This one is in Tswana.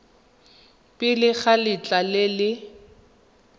pele ga letlha le le